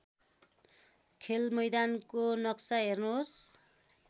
खेलमैदानको नक्सा हेर्नुहोस्